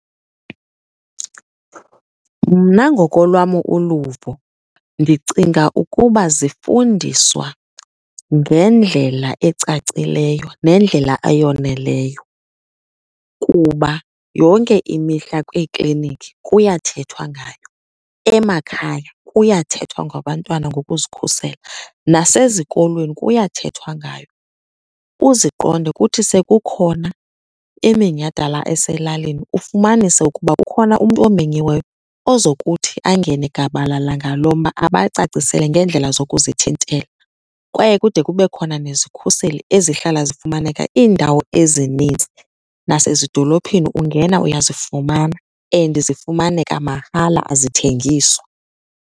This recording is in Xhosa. Mna ngokolwam uluvo ndicinga ukuba zifundiswa ngendlela ecacileyo nendlela eyoneleyo kuba yonke imihla kwiikliniki kuyathethwa ngayo. Emakhaya kuyathethwa ngabantwana ngokuzikhusela, nasezikolweni kuyathethwa ngayo. Uziqonde kuthi sekukhona iminyhadala eselalini ufumanise ukuba kukhona umntu omenyiweyo ozokuthi angene gabalala ngalo mba, abacacisele ngeendlela zokuzithintela. Kwaye kude kube khona nezikhuseli ezihlala zifumaneka iindawo ezininzi, nasezidolophini ungena uyazifumana and zifumaneka mahala azithengiswa.